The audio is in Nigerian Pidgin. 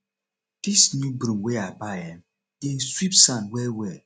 dis new broom wey i buy um dey sweep sand wellwell